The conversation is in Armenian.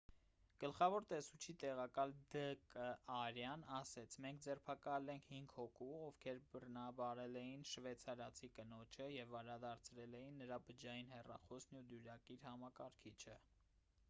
գլխավոր տեսուչի տեղակալ դ կ արյան ասաց մենք ձերբակալել ենք հինգ հոգու ովքեր բռնաբարել էին շվեյցարացի կնոջը և վերադարձրել ենք նրա բջջային հեռախոսն ու դյուրակիր համակարգիչը